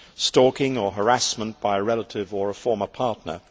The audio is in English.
stalking or harassment by a relative or a former partner.